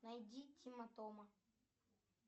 найди тима тома